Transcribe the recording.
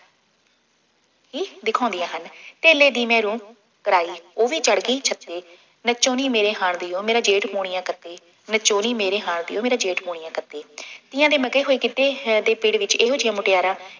ਦਿਖਾਉਂਦੀਆਂ ਹਨ। ਧੇਲੇ ਦੀ ਮੈਂ ਰੂੰ ਪਰਾਈ, ਉਹ ਵੀ ਚੜ੍ਹ ਗਈ ਛੱਤੇ, ਨੱਚੋਂ ਨੀ ਮੇੇਰੇ ਹਾਣ ਦੀ ਓ, ਮੇਰਾ ਜੇਠ ਪੂਣੀਆਂ ਕੱਤੇ, ਨੱਚੋ ਨੀ ਮੇਰੇ ਹਾਣ ਦੀ ਓ ਮੇਰਾ ਜੇਠ ਪੂਣੀਆ ਕੱਤੇ, ਤੀਆਂ ਦੇ ਮਗੇ ਹੋਏ ਗਿੱਧੇ ਹੈ ਦੇ ਪਿੜ੍ਹ ਵਿੱਚ ਇਹੋ ਜਿਹੀਆਂ ਮੁਟਿਆਰਾਂ